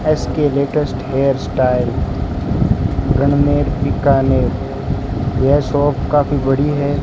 S K latest hair style रनमेर बीकानेर यह shop काफी बड़ी है।